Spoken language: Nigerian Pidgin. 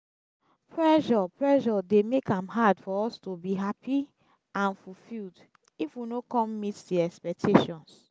pressure pressure dey make am hard for us to be happy and fulfilled if we no come meet di expectations.